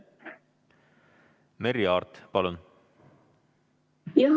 Merry Aart, palun!